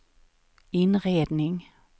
inredning